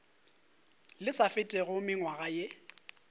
le sa fetego mengwaga ye